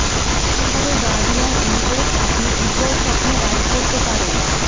কিভাবে guardian angels আপনি উজ্জ্বল স্বপ্ন গাইড করতে পারেন